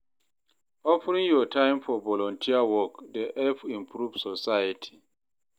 Offering yur time for volunteer work dey help improve society.